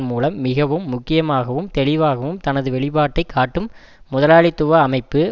மூலம் மிகவும் முக்கியமாகவும் தெளிவாகவும் தனது வெளிப்பாட்டை காட்டும் முதலாளித்துவ அமைப்பு